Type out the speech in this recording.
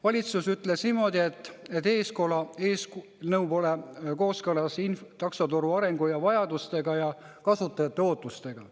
Valitsus ütles niimoodi, et eelnõu pole kooskõlas taksoturu arengu ja vajadustega ja kasutajate ootustega.